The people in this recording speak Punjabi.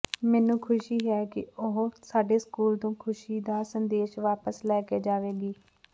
ਮੈਨੂੰ ਖੁਸ਼ੀ ਹੈ ਕਿ ਉਹ ਸਾਡੇ ਸਕੂਲ ਤੋਂ ਖੁਸ਼ੀ ਦਾ ਸੰਦੇਸ਼ ਵਾਪਸ ਲੈ ਕੇ ਜਾਵੇਗੀ